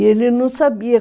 E ele não sabia.